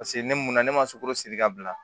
Paseke ne mun ne ma sugunsiri ka bila